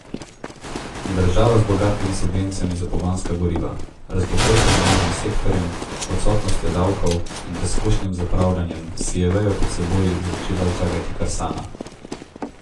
Država z bogatimi subvencijami za pogonska goriva, razbohotenim javnim sektorjem, odsotnostjo davkov in razkošnim zapravljanjem si je vejo pod seboj začela žagati kar sama.